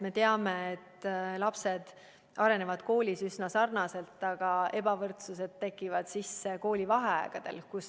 Me teame, et lapsed arenevad koolis üsna sarnaselt, aga ebavõrdsus tekib sisse koolivaheaegadel.